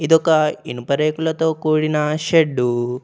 ఇదొక ఇనుప రేకులతో కూడిన షెడ్డు .